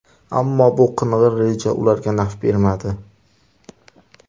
Ammo, bu qing‘ir reja ularga naf bermadi.